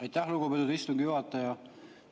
Aitäh, lugupeetud istungi juhataja!